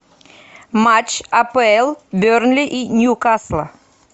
матч апл бернли и ньюкасла